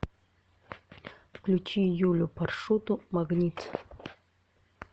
включи юлю паршуту магнит